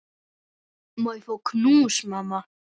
Má ég fá knús, mamma?